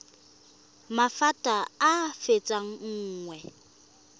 maphata a a fetang nngwe